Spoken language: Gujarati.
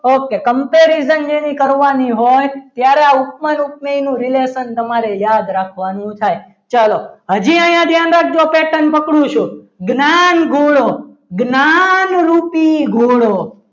ઓકે comparison જેની કરવાની હોય ત્યારે ઉપમાન ઉપમેયનું relation તમારે યાદ રાખવાનું થાય ચલો હજી અહીંયા ધ્યાન રાખજો પેટન પકડું છું. જ્ઞાનગુણો જ્ઞાનરૂપી ગુનો